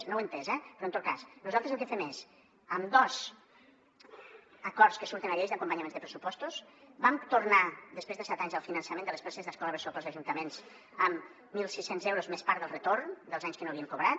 no ho he entès eh però en tot cas nosaltres el que fem és amb dos acords que surten a la llei d’acompanyament de pressupostos vam tornar després de set anys del finançament de les places d’escola bressol per als ajuntaments amb mil sis cents euros més part del re·torn dels anys que no havien cobrat